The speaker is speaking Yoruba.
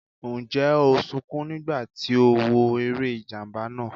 Ǹjẹ́ o sunkún nígbà tí o wo eré ìjàmbá náà?